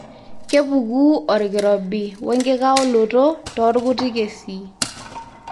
kepuku orkirobi oenkikaoloto toorkuti kesii.